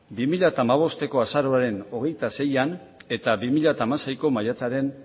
bi mila hamabosteko azaroaren hogeita seian eta bi mila hamaseiko maiatzaren